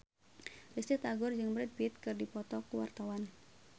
Risty Tagor jeung Brad Pitt keur dipoto ku wartawan